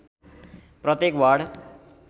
प्रत्येक वार्ड